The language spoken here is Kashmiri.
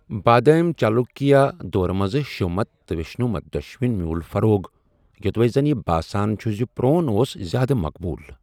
بادامی چالوکیا دور منٛز شیومت تہٕ ویشنو مت دۅشونی میوٗل فروغ ،یوٚدوے زن یہِ باسان چھُ زِ پرون اوس زیادٕ مقبول۔